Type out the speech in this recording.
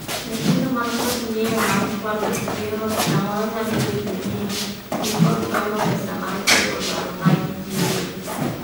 Nyithindo man kod ngiyo mar kwalo gige ot samoro nyalo bedo nii ni kod gombo pesa mar chopo dwaro maggi giwegi.